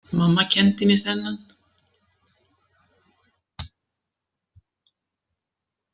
Mamma kenndi mér þennan.